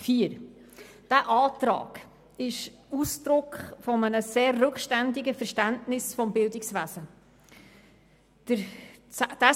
Dieser Antrag ist Ausdruck eines sehr rückständigen Verständnisses des Bildungswesens.